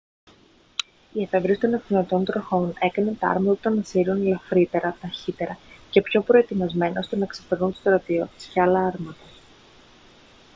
η εφεύρεση των ακτινωτών τροχών έκανε τα άρματα των ασσυρίων ελαφρύτερα ταχύτερα και πιο προετοιμασμένα ώστε να ξεπερνούν τους στρατιώτες και άλλα άρματα